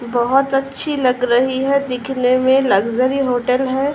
बोहोत अच्छी लग रही है। दिखने में लक्ज़री होटल है।